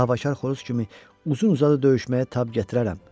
Davakar xoruz kimi uzun uzadı döyüşməyə tab gətirərəm.